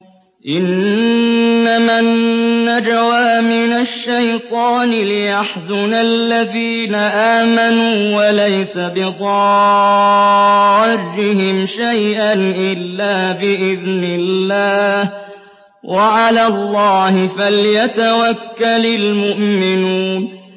إِنَّمَا النَّجْوَىٰ مِنَ الشَّيْطَانِ لِيَحْزُنَ الَّذِينَ آمَنُوا وَلَيْسَ بِضَارِّهِمْ شَيْئًا إِلَّا بِإِذْنِ اللَّهِ ۚ وَعَلَى اللَّهِ فَلْيَتَوَكَّلِ الْمُؤْمِنُونَ